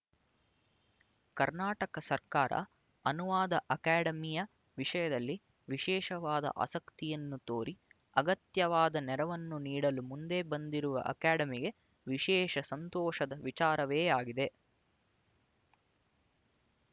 ಕರ್ನಾಟಕ ಸರ್ಕಾರ ಅನುವಾದ ಅಕಾಡೆಮಿಯ ವಿಷಯದಲ್ಲಿ ವಿಶೇಷವಾದ ಆಸಕ್ತಿಯನ್ನು ತೋರಿ ಅಗತ್ಯವಾದ ನೆರವನ್ನು ನೀಡಲು ಮುಂದೆ ಬಂದಿರುವುದು ಅಕಾಡೆಮಿಗೆ ವಿಶೇಷ ಸಂತೋಷದ ವಿಚಾರವೇ ಆಗಿದೆ